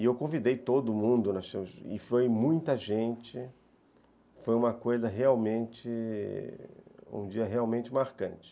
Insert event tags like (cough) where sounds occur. E eu convidei todo mundo, (unintelligible) e foi muita gente, foi uma coisa realmente, um dia realmente marcante.